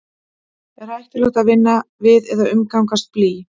er hættulegt að vinna við eða umgangast blý